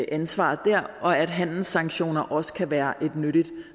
ansvar dér og at handelssanktioner også kan være et nyttigt